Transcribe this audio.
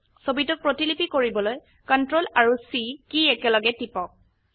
ছবিটোক প্ৰতিলিপি কৰিবলৈ CTRL আৰু C কী একলগে টিপক